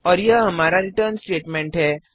और यह हमारा रिटर्न स्टेटमेंट है